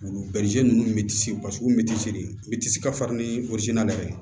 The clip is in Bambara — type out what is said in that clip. Wulu bɛ ninnu paseke olu bɛ de ka farin ni ye